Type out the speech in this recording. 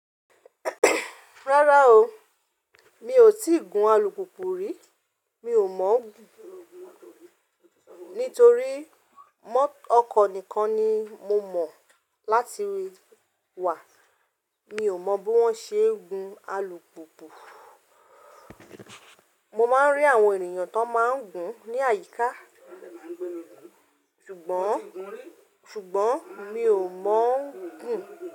Rárá o, mi ò tí ì gun alùpùpù rí. Mi ò mọ̀ gùn. Nítorí ọkọ̀ nìkan ni mo mọ̀ láti wà. Mi ò mọ bí wọ́n ṣe ń gun alùpùpù. Mo máa ń rí àwọn ènìyàn tó máa ń gùn ní àyíká. Ṣùgbọ́n, ṣùgbọ́n mi ò mọ̀ gùn.